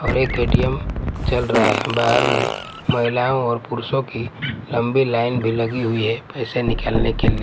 और एक ए_टी_एम चल रहा है बाहर में महिलाओं और पुरुषों की लंबी लाइन भी लगी हुई है पैसे निकालने के लि--